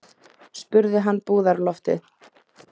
spurði hann búðarloftið.